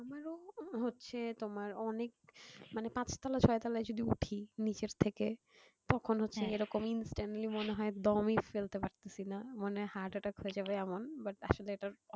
হচ্ছে তোমার অনেক মানে পাঁচতলা ছয়তলা উপরে যদি উঠি নিচের থেকে তখন হচ্ছে এরকম instantly মনে হয় দমই ফেলতে পারতেছিনা মানে heart attack হয়ে যাবে এমন but আসলে এটার